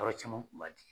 Yɔrɔ caman kun b'a di